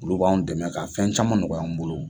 Olu b'anw dɛmɛ ka fɛn caman nɔgɔy'an bolo.